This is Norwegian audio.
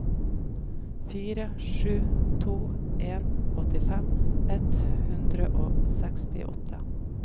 fire sju to en åttifem ett hundre og sekstiåtte